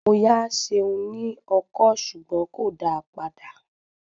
Mo yá Seun ní ọkọ́ ṣùgbọ́n kò dáa padà.